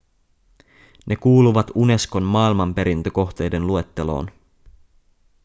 ne kuuluvat unescon maailmanperintökohteiden luetteloon